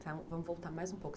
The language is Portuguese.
Vamos voltar mais um pouco.